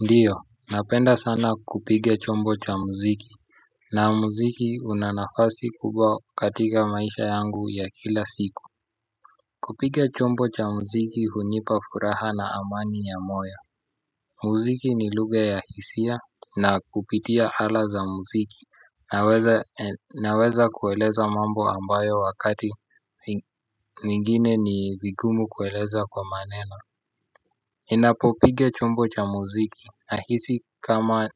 Ndiyo, napenda sana kupiga chombo cha muziki. Na muziki una nafasi kubwa katika maisha yangu ya kila siku. Kupiga chombo cha muziki hunipa furaha na amani ya moya. Muziki ni lugha ya hisia na kupitia ala za muziki naweza Naweza kueleza mambo ambayo wakati mingine ni vigumu kueleza kwa maneno. Ninapo piga chombo cha muziki nahisi kama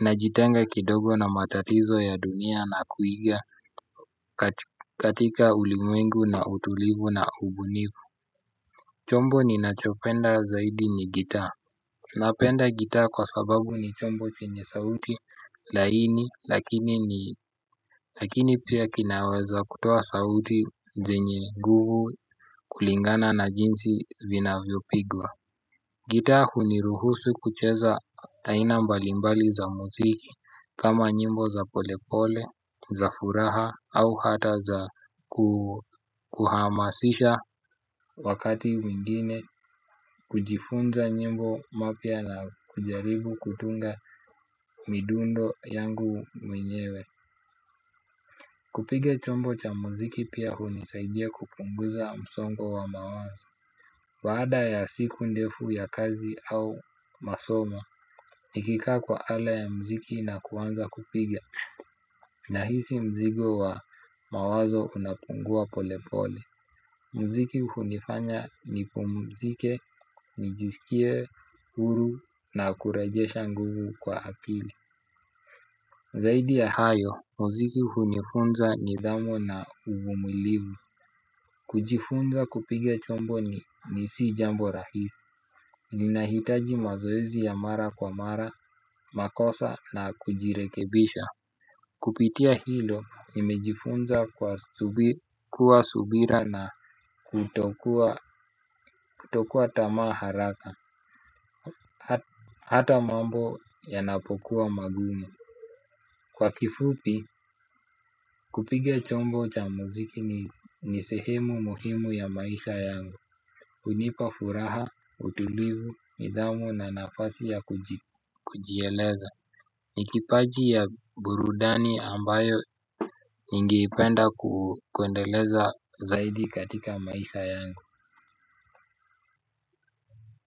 ninajitenga kidogo na matatizo ya dunia na kuiga katika ulimengu na utulivu na ubunifu. Chombo ninachopenda zaidi ni gitaa. Napenda gita kwa sababu ni chombo chenye sauti laini lakini ni lakini pia kinaweza kutua sauti zenye nguvu kulingana na jinsi vinavyopigwa. Gita huniruhusu kucheza aina mbalimbali za muziki kama nyimbo za polepole, za furaha au hata za kuhamasisha wakati mwingine kujifunza nyimbo mapya na kujaribu kutunga midundo yangu mwenyewe. Kupiga chombo cha mziki pia huu nisaidia kupunguza msongo wa mawazo. Baada ya siku ndefu ya kazi au masomo, nikika kwa ala ya mziki na kuanza kupiga. Nahisi mzigo wa mawazo unapungua pole pole. Mziki hunifanya nipumzike nijisikie huru na kurejesha nguvu kwa akili. Zaidi ya hayo, mziki hunifunza nidhamu na uvumilivu. Kujifunza kupiga chombo ni nisi jambo rahisi. Ninahitaji mazoezi ya mara kwa mara, makosa na kujirekebisha. Kupitia hilo nimejifunza kuwa subira na kutokua tamaa haraka. Hata mambo yanapokuwa magumu. Kwa kifupi, kupiga chombo cha muziki ni sehemu muhimu ya maisha yangu. Hunipa furaha, utulivu, nidhamu na nafasi ya kujieleza. Nikipaji ya burudani ambayo ningeipenda kwendeleza zaidi katika maisha yangu.